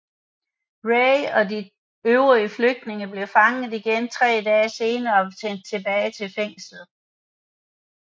Ray og de øvrige flygtende blev fanget igen tre dage senere og sendt tilbage til fængslet